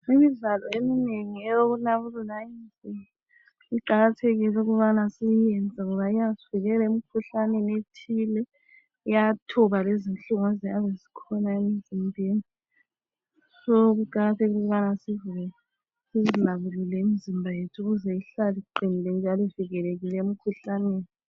Imidlalo eminengi eyokunabulula imizimba iqakathekile ukubana siyenze ngoba iyasivikela emkhuhlaneni ethile iyathoba lezinhlungu eziyabe zikhona emzimbeni so kuqakathekile ukubana sizinabulule imizimba yethu ukuze ihlale iqinile njalo ivikelekile emkhuhlaneni.